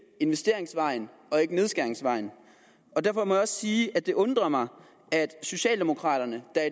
investeringsvejen og ikke nedskæringsvejen derfor må jeg også sige at det undrer mig at socialdemokraterne der